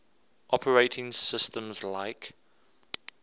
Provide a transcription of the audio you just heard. operating systems like